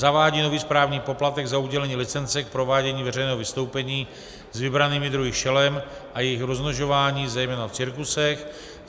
Zavádí nový správní poplatek za udělení licence k provádění veřejného vystoupení s vybranými druhy šelem a jejich rozmnožování, zejména v cirkusech.